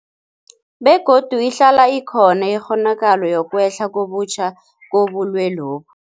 Begodu ihlala ikhona ikghonakalo yokwehla kabutjha kobulwelobu.